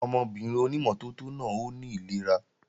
Ọmọbìnrin ònímọ́tótó náà ó ní ìlera